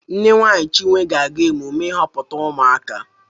Nne nwunye Chinwe ga-aga emume ịhọpụta ụmụaka